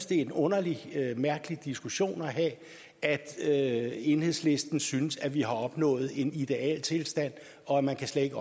det er en underlig en mærkelig diskussion at have at enhedslisten synes at vi har opnået en idealtilstand og at man slet